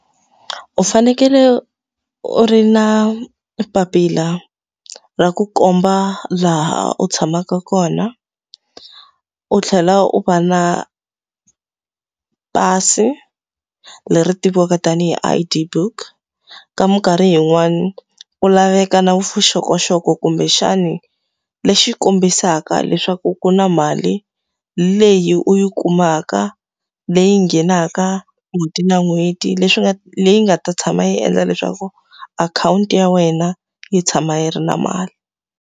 U fanekele u ri na papila ra ku komba laha u tshamaka kona, u tlhela u va na pasi leri tiviwaka tanihi I_D book. Ka minkarhi yin'wani ku laveka na vuxokoxoko kumbexani lexi kombisaka leswaku ku na mali leyi u yi kumaka, leyi nghenaka n'hweti na n'hweti, leswi nga leyi nga ta tshama yi endla leswaku akhawunti ya wena yi tshama yi ri na mali.